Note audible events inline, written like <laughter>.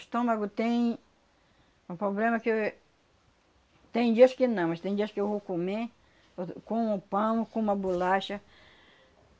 estômago tem um poblema que eu éh... Tem dias que não, mas tem dias que eu vou comer <unintelligible> como pão, como uma bolacha.